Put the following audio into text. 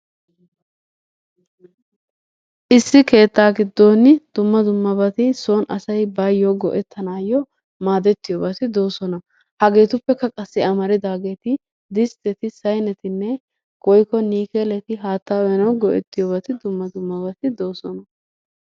Issi keettaa giddon dumma dummabati sooni asay baayo go"ettanayo maadetiyobati de'oosona. Hageetuppekka qassi amaridaageeti distteti saynetinne woykko niikeeleti haattaa uyanawu dumma dummabati de'oosona.